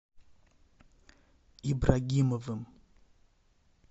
ибрагимовым